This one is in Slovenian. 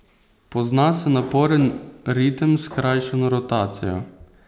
Pozna se naporen ritem s skrajšano rotacijo.